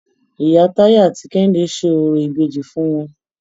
Ìyá Táyé àti Kẹ́hìndé ṣe orò ìbejì fún wọn.